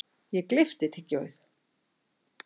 Ég gleypti tyggjóið.